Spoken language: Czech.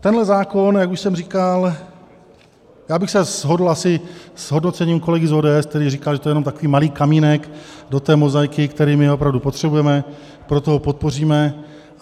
Tenhle zákon, jak už jsem říkal - já bych se shodl asi s hodnocením kolegy z ODS, který říkal, že to je jenom takový malý kamínek do té mozaiky, který my opravdu potřebujeme, proto ho podpoříme.